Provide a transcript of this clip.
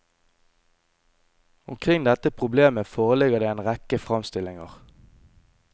Omkring dette problemet foreligger det en rekke framstillinger.